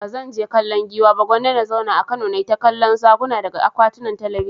Ba zan je kallon Giwa ba, Gwanda na zauna a Kano na yi ta kallon Zakuna daga akwatun talabijin.